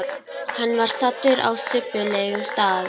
Hann var staddur á subbulegum stað.